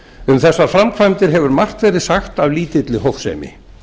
um þessar framkvæmdir hefur margt verið sagt af lítilli hófsemi